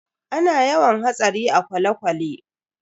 Ana yawan hatsari a kwale-kwale.